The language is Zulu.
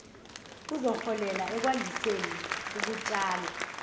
kuzoholela ekwandiseni ukutshala